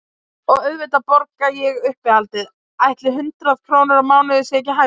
Og auðvitað borga ég uppihaldið, ætli hundrað krónur á mánuði sé ekki hæfilegt?